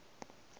ka ge e le seila